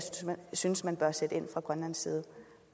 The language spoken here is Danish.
synes man bør sætte ind fra grønlands side